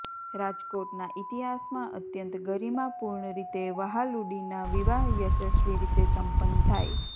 રાજકોટના ઇતિહાસમાં અત્યંત ગરીમાપૂર્ણ રીતે વહાલુડીના વિવાહ યશસ્વી રીતે સંપન્ન થાય